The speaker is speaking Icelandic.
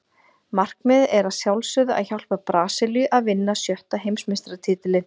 Markmiðið er að sjálfsögðu að hjálpa Brasilíu að vinna sjötta Heimsmeistaratitilinn.